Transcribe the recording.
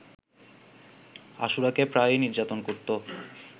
আশুরাকে প্রায়ই নির্যাতন করতো